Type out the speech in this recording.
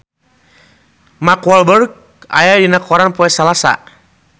Mark Walberg aya dina koran poe Salasa